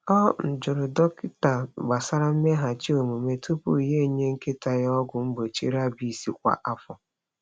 Ọ um jụrụ dọkịta gbasara mmeghachi omume tupu ya enye nkịta ya ọgwụ mgbochi rabies kwa afọ.